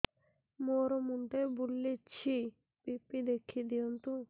ମୋର ମୁଣ୍ଡ ବୁଲେଛି ବି.ପି ଦେଖି ଦିଅନ୍ତୁ